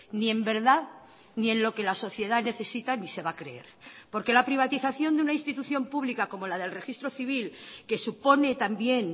ni en verdad ni en lo que la sociedad necesita ni se va a creer porque la privatización de una institución pública como la del registro civil que supone también